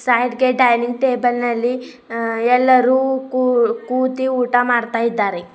Side ಗೆ dining table ನಲ್ಲಿ ಆ ಎಲ್ಲರೂ ಕೂತಿ ಊಟ ಮಾಡ್ತಾ ಇದ್ದಾರೆ.